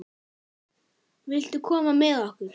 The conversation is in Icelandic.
Viltu koma með okkur?